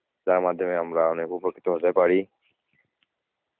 যার মাধ্যমে আমরা অনেক উপকৃত হতে পারি.